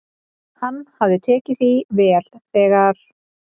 """Hann hafði tekið því vel, þegar"""